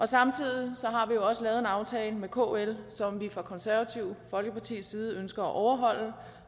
samtidig har vi jo også lavet en aftale med kl som vi fra det konservative folkepartis side ønsker at overholde